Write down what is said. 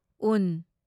ꯎ